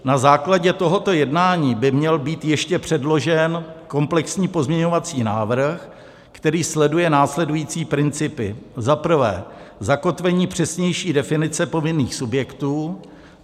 Na základě tohoto jednání by měl být ještě předložen komplexní pozměňovací návrh, který sleduje následující principy: za prvé, zakotvení přesnější definice povinných subjektů;